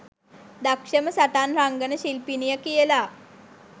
දක්ෂම සටන් රංගන ශිල්පිනිය කියලා.